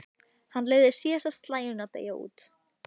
Hann leyfði síðasta slaginu að deyja út.